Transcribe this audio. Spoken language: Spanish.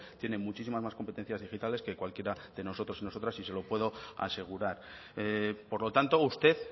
tiene muchísimas más competencias digitales que cualquiera de nosotros y nosotras y se lo puedo asegurar por lo tanto usted